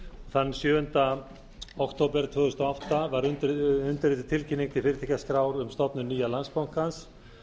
þann sjöunda október tvö þúsund og átta var undirrituð tilkynning til fyrirtækjaskrár um stofnun nýja landsbankans